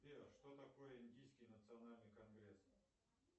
сбер что такое индийский национальный конгресс